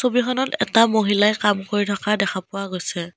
ছবিখনত এটা মহিলাই কাম কৰি থকা দেখা পোৱা গৈছে।